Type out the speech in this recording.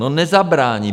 No nezabrání!